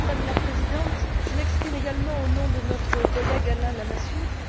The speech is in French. Madame la Présidente, je m'exprime également au nom de notre collègue Alain Lamassoure.